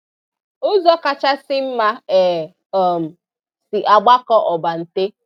Ụzọ kachasị mma e um si agbakọ ọbante